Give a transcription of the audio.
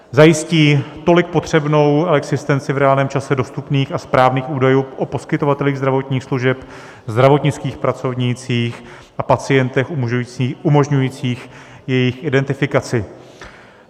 Zajistí tolik potřebnou existenci v reálném čase dostupných a správných údajů o poskytovatelích zdravotních služeb, zdravotnických pracovnících a pacientech, umožňujících jejich identifikaci.